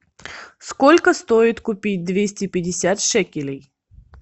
сколько стоит купить двести пятьдесят шекелей